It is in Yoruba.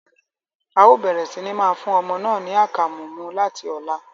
Ao bẹrẹ si máa fún ọmọ náà ní akamu mú láti ọlá